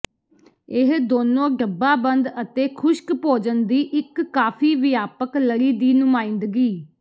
ਇਹ ਦੋਨੋ ਡੱਬਾਬੰਦ ਅਤੇ ਖੁਸ਼ਕ ਭੋਜਨ ਦੀ ਇੱਕ ਕਾਫ਼ੀ ਵਿਆਪਕ ਲੜੀ ਦੀ ਨੁਮਾਇੰਦਗੀ